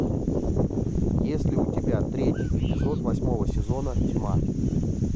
есть ли у тебя третий эпизод восьмого сезона тьма